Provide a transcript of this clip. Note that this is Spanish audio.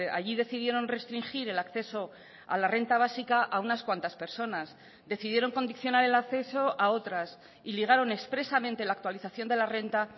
allí decidieron restringir el acceso a la renta básica a unas cuantas personas decidieron condicionar el acceso a otras y ligaron expresamente la actualización de la renta